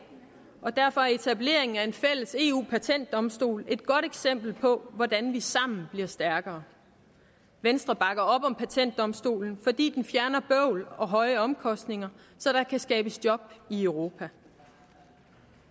derfor er etableringen af en fælles eu patentdomstol et godt eksempel på hvordan vi sammen bliver stærkere venstre bakker op om patentdomstolen fordi den fjerner bøvl og høje omkostninger så der kan skabes job i europa